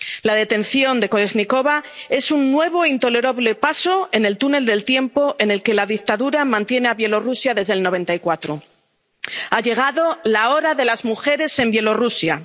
La detención de Kolésnikova es un nuevo e intolerable paso en el túnel del tiempo en el que la dictadura mantiene a Bielorrusia desde 1994. Ha llegado la hora de las mujeres en Bielorrusia.